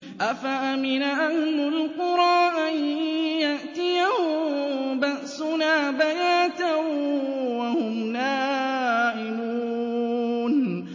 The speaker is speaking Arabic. أَفَأَمِنَ أَهْلُ الْقُرَىٰ أَن يَأْتِيَهُم بَأْسُنَا بَيَاتًا وَهُمْ نَائِمُونَ